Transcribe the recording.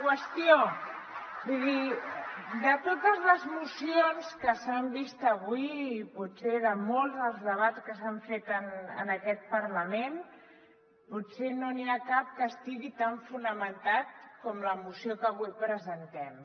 vull dir de totes les mocions que s’han vist avui i potser de molts dels debats que s’han fet en aquest parlament potser no n’hi ha cap que estigui tan fonamentat com la moció que avui presentem